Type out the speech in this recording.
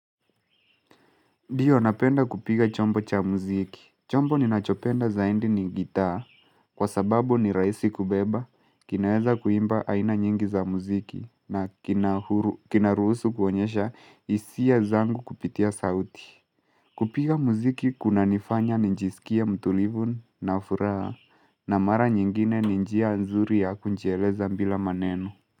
Ndio napenda kupiga chombo cha muziki. Chombo ninachopenda zaidi ni gitaa. Kwa sababu ni raisi kubeba. Kinaweza kuimba aina nyingi za muziki. Na kina huru kinaruhusu kuonyesha hisia zangu kupitia sauti. Kupiga muziki kunanifanya nijisikie mtulivu na furaha. Na mara nyingine ni njia nzuri ya kujieleza bila maneno.